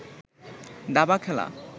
দাবা খেলা